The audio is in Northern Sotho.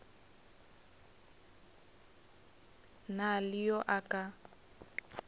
na le yo a ka